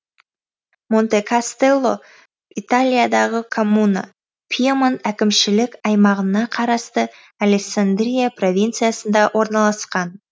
монтекастелло италиядағы коммуна пьемонт әкімшілік аймағына қарасты алессандрия провинциясында орналасқан